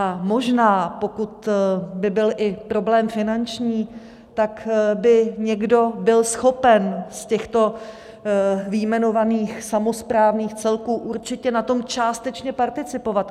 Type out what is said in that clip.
A možná, pokud by byl i problém finanční, tak by někdo byl schopen z těchto vyjmenovaných samosprávných celků určitě na tom částečně participovat.